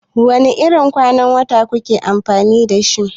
Wane irin ƙwan wuta kuke amfani da shi?